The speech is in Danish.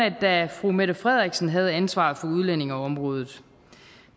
at da fru mette frederiksen havde ansvaret for udlændingeområdet